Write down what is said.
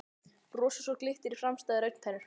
Brosi svo glittir í framstæðar augntennur.